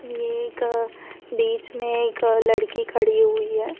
ये एक बीच में एक लड़की खड़ी हुई है।